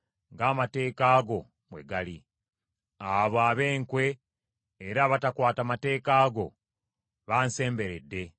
Abo ab’enkwe era abatakwata mateeka go bansemberedde, kyokka bali wala n’amateeka go.